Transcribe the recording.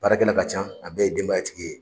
Baarakɛ la ka can a bɛɛ ye denbaya tigi ye.